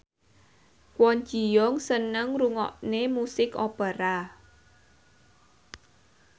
Kwon Ji Yong seneng ngrungokne musik opera